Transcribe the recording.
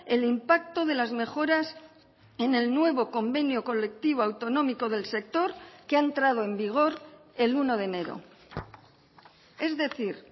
el impacto de las mejoras en el nuevo convenio colectivo autonómico del sector que ha entrado en vigor el uno de enero es decir